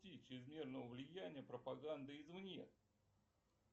чрезмерного влияния пропаганды из вне